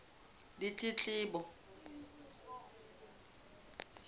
ditletlebo